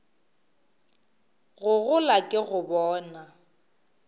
go gola ke go bona